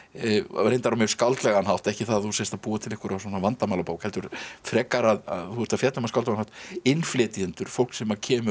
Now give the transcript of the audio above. reyndar á mjög skáldlegan hátt ekki það að þú sért að búa til vandamálabók heldur frekar að þú ert að fjalla um á skáldlegan hátt innflytjendur fólk sem kemur